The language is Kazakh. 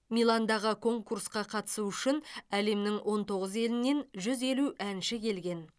миландағы конкурсқа қатысу үшін әлемнің он тоғыз елінен жүз елу әнші келген